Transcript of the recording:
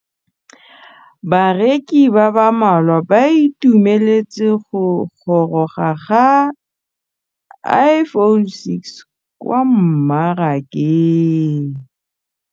Bareki ba ba malwa ba ituemeletse go gôrôga ga Iphone6 kwa mmarakeng.